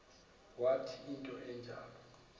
wathi into enjalo